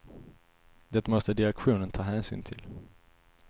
Det måste direktionen ta hänsyn till.